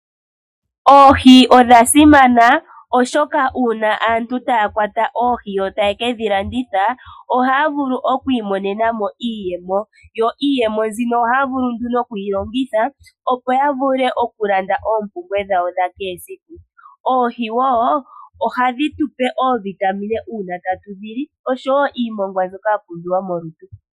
Oohi odha simana oshoka uuna aantu taya kwata oohi taye kedhi landitha, ohaya vulu oku imonena mo iiyemo. Yo iiyemo mbino ohaya vulu nduno okuyi longitha opo ya vule oku landa oompumbwe dhawo dha kehe esiku. Oohi wo ohadhi tupe oovitamine sho tatu dhili oshowo iimongwa mbyoka ya pumbiwa molutu.